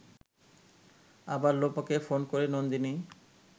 আবার লোপাকে ফোন করে নন্দিনী